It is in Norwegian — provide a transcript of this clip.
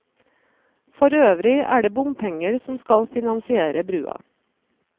For øvrig er det bompenger som skal finansiere brua.